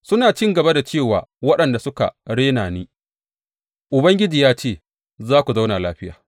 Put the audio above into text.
Suna cin gaba da ce wa waɗanda suka rena ni, Ubangiji ya ce za ku zauna lafiya.’